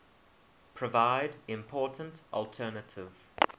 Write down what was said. provide important alternative